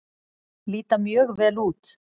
Líta mjög vel út.